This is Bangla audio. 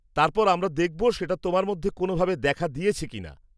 তারপর আমরা দেখব সেটা তোমার মধ্যে কোনওভাবে দেখা দিয়েছে কিনা।